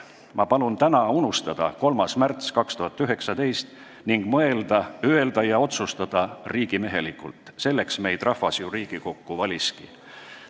Ma palun teil täna 3. märts 2019 unustada ning mõelda, öelda ja otsustada riigimehelikult – selleks meid rahvas ju Riigikokku valiski.